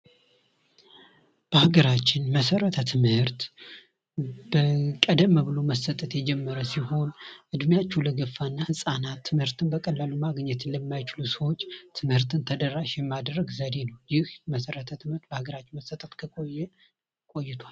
በሀገራችን መሰረተ ትምህርት ቀደም ብሎ መሰጠት የጀመረ ሲሆን ዕድሜያችሁ ለገፋና ህጻና ትምርትን በቀላሉ ማግኘት ለማይችሉ ሰዎች ትምህርትን ተደራሽ የማድረግ ዘዴ ነው ይህ መሰረተ ትምህርት በሀገራችን መሰጠት ከቆየ ቆይቷል ::